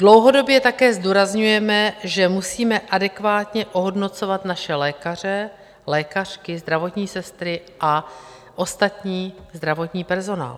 Dlouhodobě také zdůrazňujeme, že musíme adekvátně ohodnocovat naše lékaře, lékařky, zdravotní sestry a ostatní zdravotní personál.